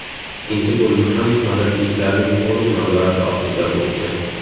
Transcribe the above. Ikkinchi bo‘lim ham madridliklarning to‘liq nazorati ostida o‘tdi.